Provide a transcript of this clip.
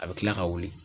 A bɛ kila ka wuli